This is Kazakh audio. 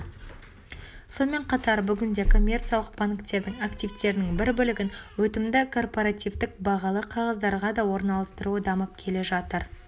сонымен қатар бүгінде коммерциялық банктердің активтерінің бір бөлігін өтімді корпоративтік бағалы қағаздарға да орналастыруы дамып келе жатыр